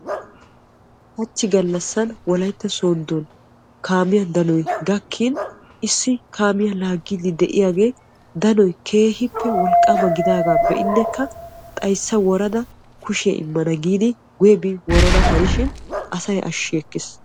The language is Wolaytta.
hachchi gallassan Wolaytta sooddon kaamiya danoy gakkin issi kaamiya laagiyagee danoy keehippe wolqqaama gidoga be'inekka xayssa woradaa kushiyaa immana giidi guyye bi worana hanishin asay ashshi ekkiis.